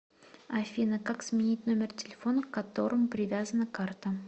афина как сменить номер телефона к которому привязана карта